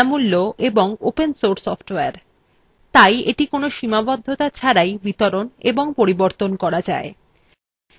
এটি বিনামূল্য of open source software তাই এটি কোনো সীমাবদ্ধতা ছাড়াই বিতরণ এবং পরিবর্তন করা যায়